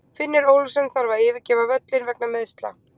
Finnur Ólafsson þarf að yfirgefa völlinn vegna meiðsla.